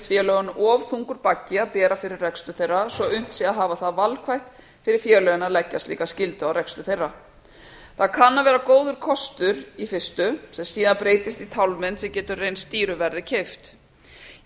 félögunum of þungur baggi að bera fyrir rekstur þeirra svo að unnt sé að hafa það valkvætt fyrir félögin að leggja slíka skyldu á rekstur þeirra það kann að vera góður kostur í fyrstu sem síðan breytist í tálmynd sem getur reynst dýru verði keypt ég